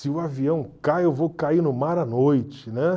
Se o avião cai, eu vou cair no mar à noite, né?